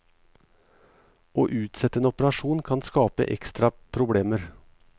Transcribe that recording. Å utsette en operasjon kan skape ekstra problemer.